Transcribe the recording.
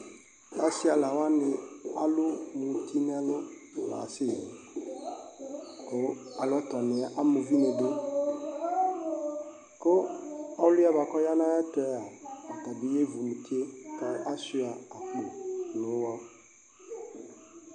Ɔsi ɛla wani alu muti nu ɛlu ku alɔtɔni yɛ ama uvi niduku ɔliɛ ya nu ayɛtua tabi yevu mutie ku ashua akpo nu uɣɔ